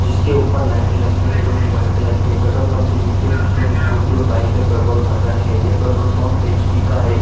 जिसके ऊपर लाइट लगी हुई है जो की वाइट कलर की है पेट्रोल पंप के नीचे कुछ लोग स्कूटी और बाइक में पेट्रोल भर रहे हैं यह पेट्रोल पंप एचपी का है।